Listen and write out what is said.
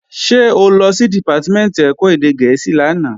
Ṣé o lọ sí Dìpátímẹ̀ntì ẹ̀kọ́ èdè gẹ̀ẹ́sì lánàá?